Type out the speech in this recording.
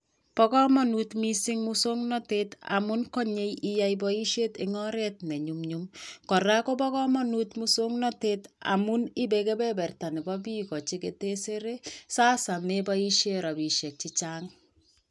Bo kamanut moswoknatet amu konyoei iyoei boishet en oret nenyum nyum ako makoi iboishe rabishek chechang